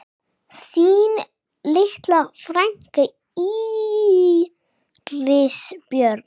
Þín litla frænka, Íris Björk.